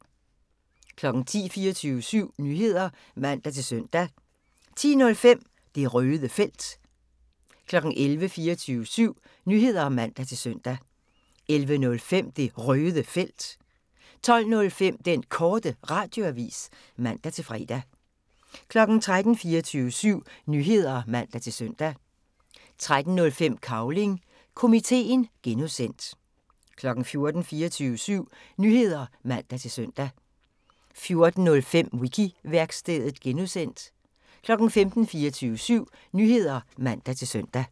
10:00: 24syv Nyheder (man-søn) 10:05: Det Røde Felt 11:00: 24syv Nyheder (man-søn) 11:05: Det Røde Felt 12:05: Den Korte Radioavis (man-fre) 13:00: 24syv Nyheder (man-søn) 13:05: Cavling Komiteen (G) 14:00: 24syv Nyheder (man-søn) 14:05: Wiki-værkstedet (G) 15:00: 24syv Nyheder (man-søn)